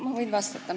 Ma võin vastata.